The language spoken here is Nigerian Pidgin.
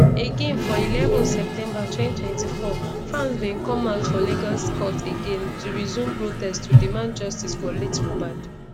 again for eleven september 2024 fans bin come out for lagos court again to resume protest to demand justice for late mohbad